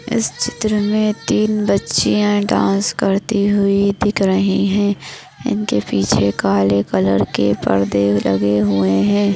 इस चित्र मे तीन बच्चियाँ डान्स करती हुई दिख रहैं हैं इनके पीछे काले कलर के पड़दे लगे हुए हैं।